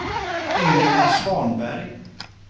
Ingela Svanberg